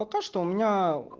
пока что у меня